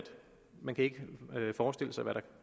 man ikke kunne forestille sig hvad der